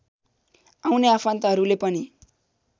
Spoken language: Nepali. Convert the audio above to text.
आउने आफन्तहरूले पनि